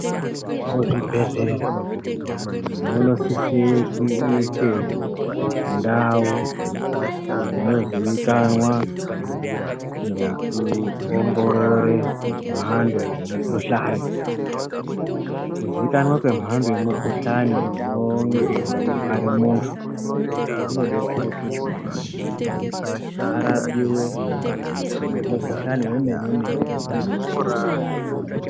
Muzvibhehleya munisise kuite ndau dzinozikanwa ngekuongorere mhando yemikhuhlani. Kuzikanwa kwemhando yemukhuhlane unonge weirwara muntu, kunobetsere kuti arapiwe mukhuhlani wemene-mene unenge wechimurwadza.